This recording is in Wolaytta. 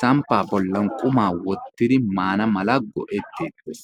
sampaa bolan qumaa wottidi maana mala go'eteettees.